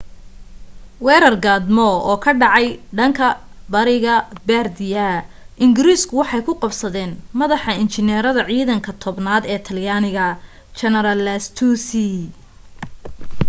weerar gaadmo ah oo ka dhacay bariga bardia ingiriiska waxay ku qabsadeen madaxa injineerada ciidanka tobnaad ee talyaaniga jeneraal lastucci